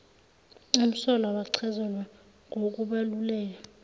umsolwa wachazelwa ngokubaluleka